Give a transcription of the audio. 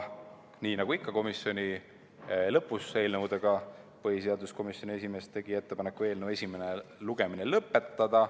Nii nagu ikka komisjonis eelnõu arutelu lõpus, tegi põhiseaduskomisjoni esimees ettepaneku eelnõu esimene lugemine lõpetada.